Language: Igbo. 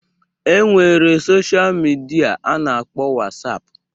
E nwere sosha midia a na-akpọ Wasapụ